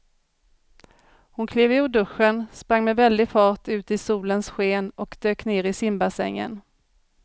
Hon klev ur duschen, sprang med väldig fart ut i solens sken och dök ner i simbassängen.